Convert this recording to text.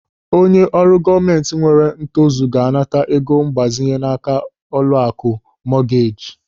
Onye ọrụ gọọmenti nwere ntozu ga-anata ego mgbazinye n'áká ụlọaku mọgeeji.